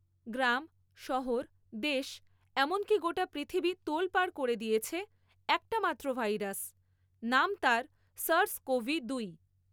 গ্রাম, শহর, দেশ এমনকি গোটা পৃথিবী তোলপাড় করে দিয়েছে একটা মাত্র ভাইরাস, নাম তার সার্স কোভি দুই।